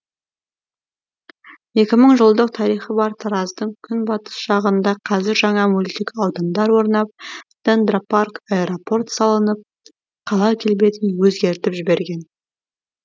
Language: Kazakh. екі мың жылдық тарихы бар тараздың күнбатыс жағында қазір жаңа мөлтек аудандар орнап дендропарк аэропорт салынып қала келбетін өзгертіп жіберген